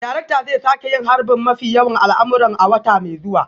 Darakta zai sake yin harbin mafi yawan al'amuran a wata mai zuwa